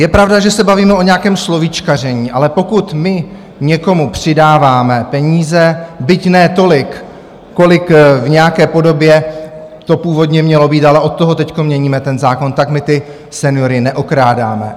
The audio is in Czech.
Je pravda, že se bavíme o nějakém slovíčkaření, ale pokud my někomu přidáváme peníze, byť ne tolik, kolik v nějaké podobě to původně mělo být, ale od toho teď měníme ten zákon, tak my ty seniory neokrádáme.